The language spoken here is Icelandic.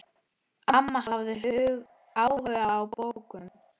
Amma hafði áhuga á bókum.